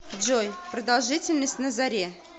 джой продолжительность на заре